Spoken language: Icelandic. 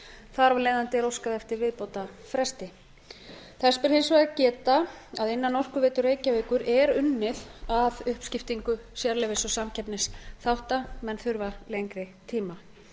þar af leiðandi er óskað eftir viðbótarfresti þess ber hins vegar að geta að innan orkuveitu reykjavíkur er unnið að uppskiptingu sérleyfis og samkeppnisþátta menn þurfa lengri tíma